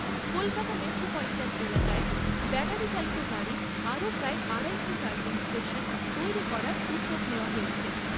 Kolkata metropolitan এলাকায় ব্যাটারিচালিত গাড়ির আরও প্রায় আড়াইশো চার্জিং স্টেশন তৈরি করার উদ্যোগ নেওয়া হয়েছে।